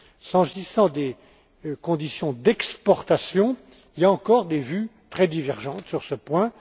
S'agissant des conditions d'exportation, il y a encore des vues très divergentes sur ce point.